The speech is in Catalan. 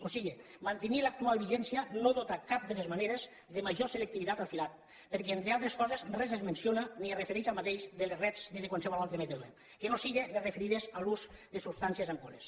o sigui mantenir l’actual vigència no dota de cap de les maneres de major selectivitat al filat perquè entre altres coses res es menciona ni es refereix a aquest de les rets ni de qualsevol altre mètode que no siguin les referides a l’ús de substancies enganxoses